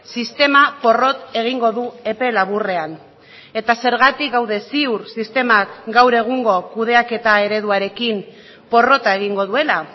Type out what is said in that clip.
sistema porrot egingo du epe laburrean eta zergatik gaude ziur sistemak gaur egungo kudeaketa ereduarekin porrota egingo duela